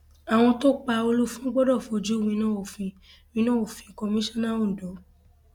àwọn tó pa olùfọn gbọdọ fojú winá òfin winá òfin kọmíṣánná ondo